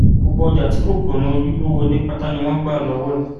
gbogbo ọjà tí kò gbọnà ojúgbó wọlé pátá ni wọn gbà lọwọ ẹ